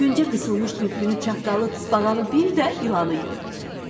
Küncə qısılmış tülkünü, çaqqalı, tısbağanı bir də ilanı gördü.